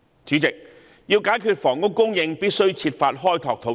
主席，要解決房屋供應，必須設法開拓土地。